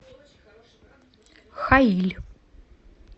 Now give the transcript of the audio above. хаиль